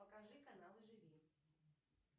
покажи каналы живи